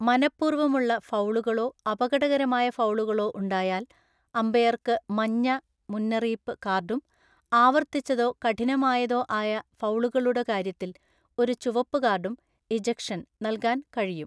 മനപ്പൂർവ്വമുള്ള ഫൗളുകളോ അപകടകരമായ ഫൗളുകളോ ഉണ്ടായാൽ, അമ്പയർക്ക് മഞ്ഞ (മുന്നറിയിപ്പ്) കാർഡും ആവർത്തിച്ചതോ കഠിനമായതോ ആയ ഫൗളുകളുടെ കാര്യത്തിൽ, ഒരു ചുവപ്പ് കാർഡും (ഇജെക്ഷൻ) നൽകാൻ കഴിയും.